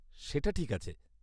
সেটা ঠিক আছে।